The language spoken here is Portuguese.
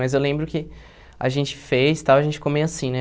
Mas eu lembro que a gente fez, tal, a gente ficou meio assim, né?